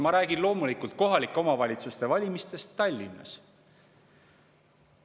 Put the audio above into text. Ma räägin loomulikult kohalike omavalitsuste valimistest Tallinnas.